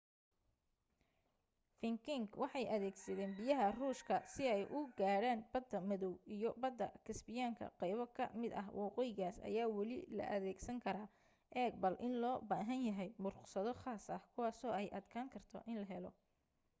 vikings waxay adeegsadeen biyaha ruushka si ay u gaadhaan badda madaw iyo badda kasbiyaanka qaybo ka mid ah waddooyinkaas ayaa weli la adeegsan karaa eeg bal in loo baahan yahay ruqsado khaas ah kuwaaso ay adkaan karto in la helo